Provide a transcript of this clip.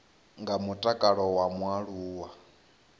nga ha mutakalo wa mualuwa